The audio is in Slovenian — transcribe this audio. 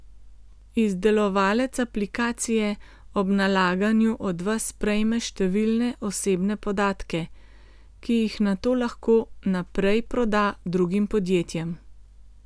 Izdelovalec aplikacije ob nalaganju od vas prejme številne osebne podatke, ki jih nato lahko naprej proda drugim podjetjem.